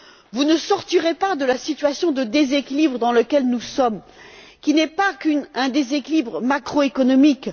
Vous ne sortirez pas de la situation de déséquilibre dans laquelle nous sommes, qui n'est pas qu'un déséquilibre macro économique.